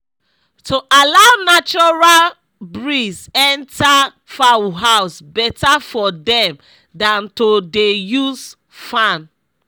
to allow natural breeze enter fowl house better for dem dan to dey use fan